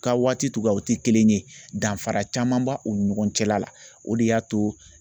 Ka waati togoyaw tɛ kelen ye danfara camanba u ni ɲɔgɔn cɛla la o de y'a to